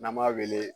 N'an b'a wele